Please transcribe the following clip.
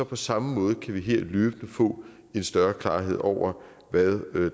på samme måde løbende få en større klarhed over hvad